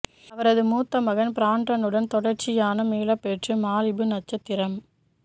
அவரது மூத்த மகன் பிராண்டன் உடன் தொடர்ச்சியான மீளப்பெற்று மாலிபு நட்சத்திரம்